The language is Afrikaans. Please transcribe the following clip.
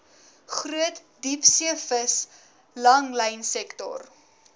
groot diepseevis langlynsektor